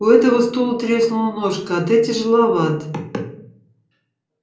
у этого стула треснула ножка а ты тяжеловат